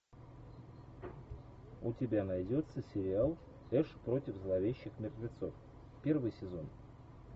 у тебя найдется сериал эш против зловещих мертвецов первый сезон